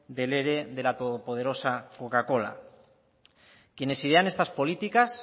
del ere de la todopoderosa coca cola quienes idean estas políticas